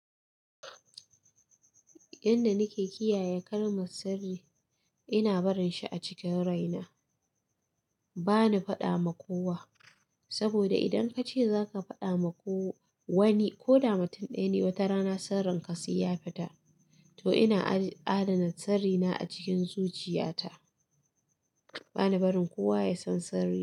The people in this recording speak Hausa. Yanda nike kiyaye kalmar sirri, ina barin shi a cikin raina. Bana faɗa ma kowa, saboda idan kace zaka faɗa ma ko wa wani ko da mutun ɗaya ne, wata rana sirrin ka sai ya fita. To ina adana sirri na a cikin zuciya ta. Bani barin kowa ya san sirri.